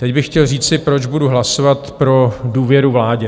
Teď bych chtěl říci, proč budu hlasovat pro důvěru vládě.